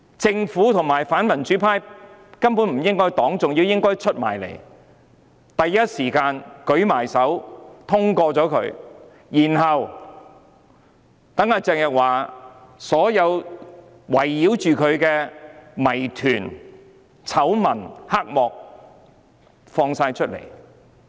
政府和反民主派根本不應該反對，反而應該站出來，支持通過這項議案，讓圍繞鄭若驊的所有謎團、醜聞、黑幕都被揭露出來。